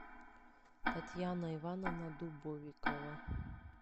татьяна ивановна дубовикова